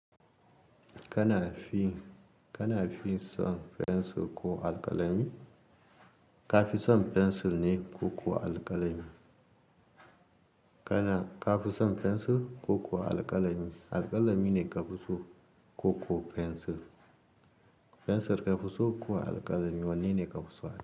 Kana fi, kana fi son fensir ko alƙalami? Ka fi son fensir ne ko kuwa alƙalami? Kana, ka fi son fensir ko kuwa alƙalami? Alƙalami ne ka fi so ko kuwa fensir? Fensir ka fi so ko alƙalami? Wanne ne ka fi so?